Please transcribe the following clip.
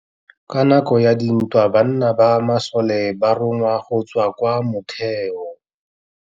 Ka nakô ya dintwa banna ba masole ba rongwa go tswa kwa mothêô.